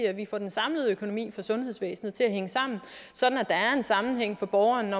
at vi får den samlede økonomi for sundhedsvæsenet til at hænge sammen sådan at der er en sammenhæng for borgerne